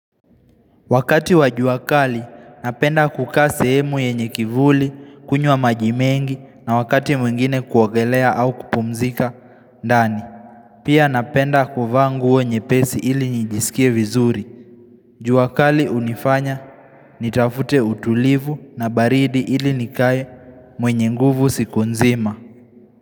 Wakati wa juakali, napenda kukaa sehemu yenye kivuli, kunywa maji mengi na wakati mwingine kuogelea au kupumzika, ndani. Pia napenda kuvaa nguo nyepesi ili nijisikie vizuri. Jua kali hunifanya, nitafute utulivu na baridi ili nikae mwenye nguvu siku nzima.